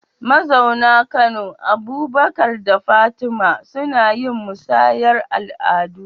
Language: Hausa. Mazauna Kano, Abubakar da Fatima, suna yin musayar al’adu